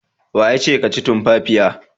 Wa yace ka ci tumfafiya?